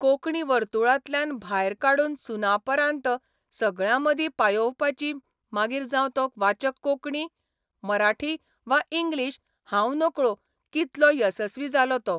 कोंकणी वर्तुळांतल्यान भायर काडून सुनापरान्त सगळ्यांमदीं पायोवपाची मागीर जावं तो वाचक कोंकणी, मराठी वा इंग्लिश हांव नकळो कितलों येसस्वी जालों तों.